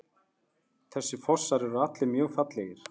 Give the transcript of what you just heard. Þessir fossar eru allir mjög fallegir.